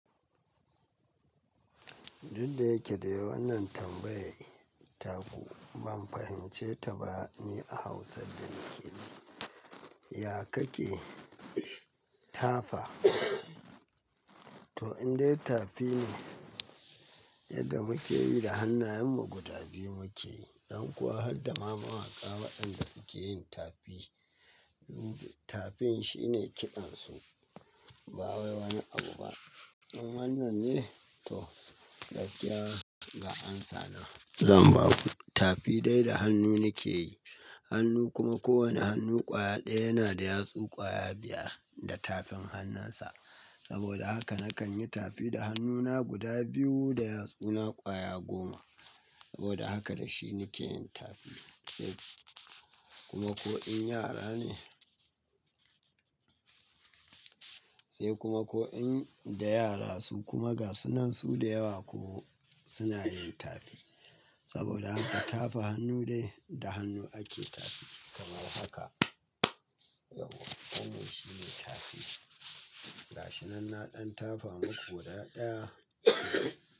Duk da yake dai wannan tambayar taku ban fahimce ta ba ne a Hausa da nake yi. Ya ka ke tafa? To indai tafi ne, yadda muke yi da hannayenmu guda biyu muke. Don kuwa har da ma mawaƙa waɗanda suke yin tafi. Tafin shine kiɗan su, ba wai wani abu ba. Nan wannan ne? To gaskiya ga amsa na. Zan baku. Tafi dai da hannu nake yi. Hannu kuma kowane hannu ƙwaya ɗaya yana da yatsu ƙwaya biyar da tafin hannunsa. Saboda haka nakan yi tafi da hannuna guda biyu da yatsuna ƙwaya goma. Saboda haka da shi nake yin tafi. Sai kuma ko in yara ne. Sai kuma ko in da yara su kuma ga su nan su da yawa ko suna yin tafi. Saboda haka tafa hannu dai da hannu ake tafi. Kamar haka. Yau, komai shine tafi. Ga shi nan na ɗan tafa muku guda ɗaya.